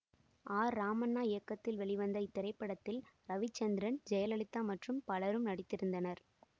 R Ramanna இயக்கத்தில் வெளிவந்த இத்திரைப்படத்தில் ரவிச்சந்திரன் ஜெயலலிதா மற்றும் பலரும் நடித்திருந்தனர்